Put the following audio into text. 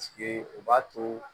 o b'a to